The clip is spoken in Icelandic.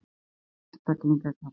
Slíka einstaklinga kallar